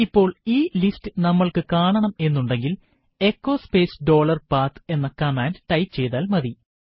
ഇപ്പോൾ ഈ ലിസ്റ്റ് നമ്മൾക്ക് കാണണം എന്നുണ്ടെങ്കിൽ എച്ചോ സ്പേസ് ഡോളർപാത്ത് എന്ന കമാൻഡ് ടൈപ്പു ചെയ്താൽ മതി